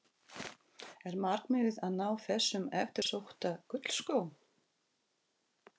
Er markmiðið að ná þessum eftirsótta gullskó?